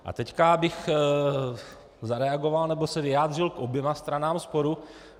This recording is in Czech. A teď bych zareagoval nebo se vyjádřil k oběma stranám sporu.